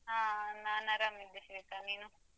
ಹಾ ನಾನ್ ಆರಾಮ್ ಇದ್ದೆ ಶ್ವೇತಾ. ನೀನು?